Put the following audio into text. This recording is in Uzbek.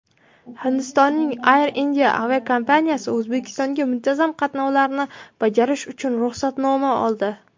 Hindistonning "Air India" aviakompaniyasi O‘zbekistonga muntazam qatnovlarni bajarish uchun ruxsatnoma oldi.